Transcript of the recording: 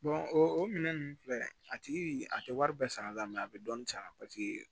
o minɛn ninnu filɛ a tigi a tɛ wari bɛɛ sara la mɛ a bɛ dɔɔnin sara paseke